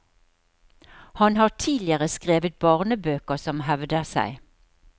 Han har tidligere skrevet barnebøker som hevder seg.